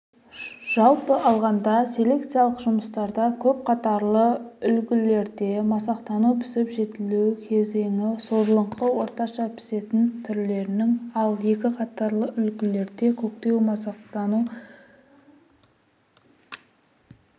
жалпы алғанда селекциялық жұмыстарда көп қатарлы үлгілерде масақтану пісіп-жетілу кезеңі созылыңқы орташа пісетін түрлерінің ал екі қатарлы үлгілерде көктеу-масақтану